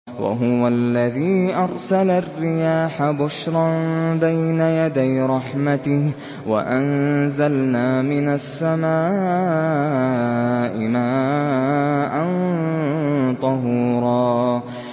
وَهُوَ الَّذِي أَرْسَلَ الرِّيَاحَ بُشْرًا بَيْنَ يَدَيْ رَحْمَتِهِ ۚ وَأَنزَلْنَا مِنَ السَّمَاءِ مَاءً طَهُورًا